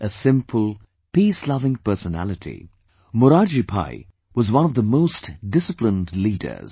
A simple, peace loving personality, Morarjibhai was one of the most disciplined leaders